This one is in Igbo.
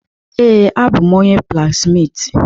Ee, abụ m onye blaksmitị.